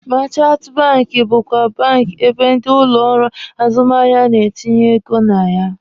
Meechanti banki bụkwa bank ebe ndị ụlọ ọrụ azụmahịa na-etinye ego na ya.